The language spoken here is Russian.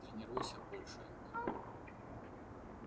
тренируйся больше антон